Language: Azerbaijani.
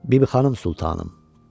Bibixanım Sultanım.